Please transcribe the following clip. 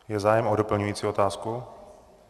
Je zájem o doplňující otázku?